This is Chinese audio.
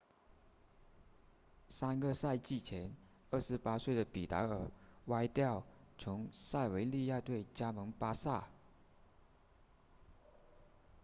三个赛季前28岁的比达尔 vidal 从塞维利亚队加盟巴萨